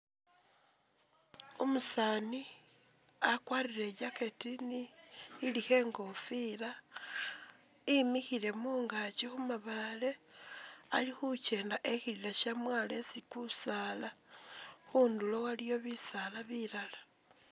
Umusaani wakwarire i jacket ilikho ingofila, wimikhile mungakyi khumabaale ali khukyenda e khilila shamwaalo esi kusaala khundulo waliyo bisaala bilala.